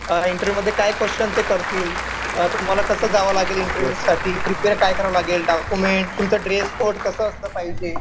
अ interview मध्ये काय question ते करतील. अ तुम्हाला कसं जावं लागेल इंटरव्यू साठी. प्रिपेअर काय करावं लागेल. डॉक्युमेंट, तुमचं ड्रेस कोड कसं असलं पाहिजे.